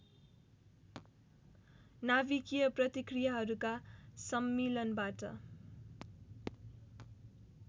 नाभिकीय प्रतिक्रियाहरूका सम्मिलनबाट